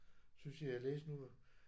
Synes jeg jeg læste nu